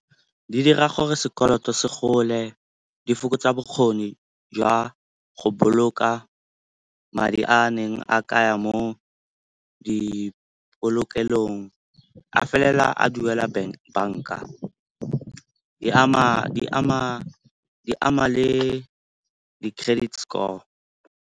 Di dira gore sekoloto se gole, di fokotsa bokgoni jwa go boloka madi a neng a kaya mo di polokelong, a felela a duela banka. Di ama le di-credit score.